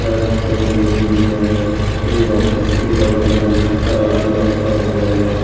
Shirt पहनी हुई है एवं उसके बगल में तराजू रखा हुआ है।